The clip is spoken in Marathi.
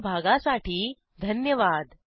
सहभागासाठी धन्यवाद